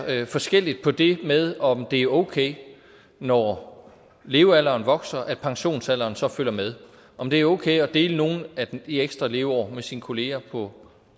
forskelligt på det med om det er okay når levealderen vokser at pensionsalderen så følger med om det er okay at dele nogle af de ekstra leveår med sine kollegaer på